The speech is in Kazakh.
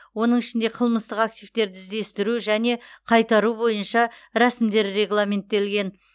оның ішінде қылмыстық активтерді іздестіру және қайтару бойынша рәсімдер регламенттелген